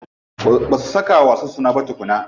Ba su saka wa wasan suna ba tukunna.